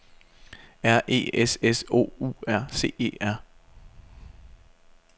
R E S S O U R C E R